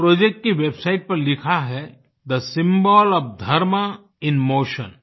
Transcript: इस प्रोजेक्ट की वेबसाइट पर लिखा है the symbol of dharma in Motion